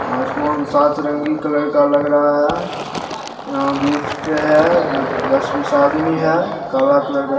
आसमान सातरंगी कलर का लग रहा है | यहां बीच पे है | दस-बीस आदमी है | काला कलर ---